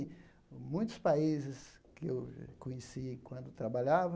Enfim, muitos países que eu conheci enquanto trabalhava,